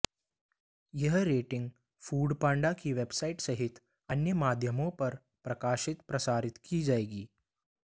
यह rating Foodpanda की website सहित अन्य माध्यमों पर प्रकाशित प्रसारित की जाएगी